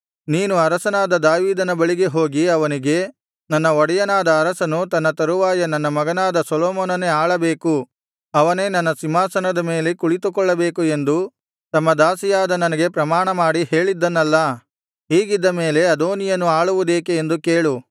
ನೀನು ಅರಸನಾದ ದಾವೀದನ ಬಳಿಗೆ ಹೋಗಿ ಅವನಿಗೆ ನನ್ನ ಒಡೆಯನಾದ ಅರಸನು ತನ್ನ ತರುವಾಯ ನನ್ನ ಮಗನಾದ ಸೊಲೊಮೋನನೇ ಆಳಬೇಕು ಅವನೇ ನನ್ನ ಸಿಂಹಾಸನದ ಮೇಲೆ ಕುಳಿತುಕೊಳ್ಳಬೇಕು ಎಂದು ತಮ್ಮ ದಾಸಿಯಾದ ನನಗೆ ಪ್ರಮಾಣ ಮಾಡಿ ಹೇಳಿದ್ದನಲ್ಲಾ ಹೀಗಿದ್ದ ಮೇಲೆ ಅದೋನೀಯನು ಆಳುವುದೇಕೆ ಎಂದು ಕೇಳು